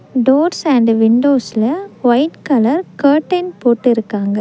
Doors and விண்டோஸ்ல white colour curtain போட்டு இருக்காங்க.